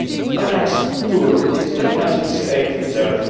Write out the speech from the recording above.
The next tool is the emergency aid reserve.